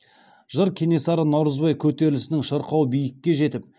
жыр кенесары наурызбай көтерілісінің шырқау биікке жетіп